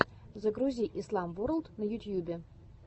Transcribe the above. загрузи ислам ворлд на ютьюбе